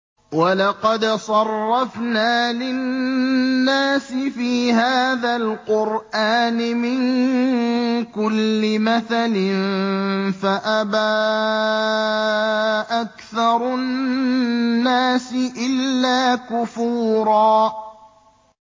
وَلَقَدْ صَرَّفْنَا لِلنَّاسِ فِي هَٰذَا الْقُرْآنِ مِن كُلِّ مَثَلٍ فَأَبَىٰ أَكْثَرُ النَّاسِ إِلَّا كُفُورًا